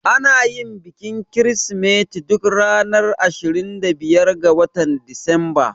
Anayin bikin kirismeti duk ranar 25 ga watan Disamba